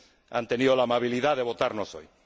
han tenido la amabilidad de aprobarnos hoy.